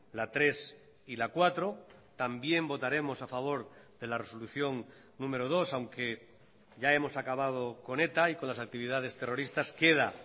la tres y la cuatro también votaremos a favor de la resolución número dos aunque ya hemos acabado con eta y con las actividades terroristas queda